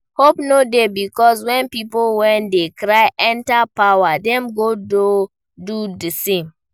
Hope no dey because when pipo wey dey cry enter power dem go do the same